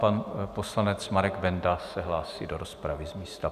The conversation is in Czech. Pan poslanec Marek Benda se hlásí do rozpravy z místa.